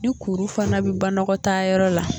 Ni kuru fana bɛ banɔgɔtaayɔrɔ la